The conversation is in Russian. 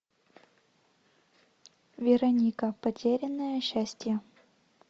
вероника потерянное счастье